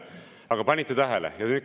Aga kas panite tähele?